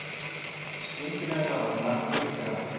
Skyndilega nálægt markinu fer allt.